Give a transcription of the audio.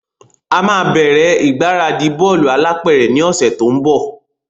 A máa bẹ́rẹ́ ìgbáradì bọ́lù alápẹ̀rẹ̀ ni òsẹ̀ to n bò